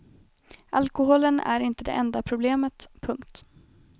Alkoholen är inte det enda problemet. punkt